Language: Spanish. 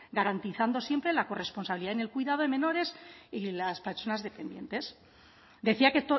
garantizando siempre la corresponsabilidad en el cuidado de menores y las personas dependientes decía que